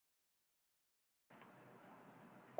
Kristján: Verður þetta árlegur viðburður hér eftir?